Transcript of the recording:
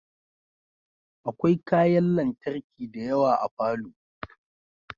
Akwai kayan lantarki dayawa a falo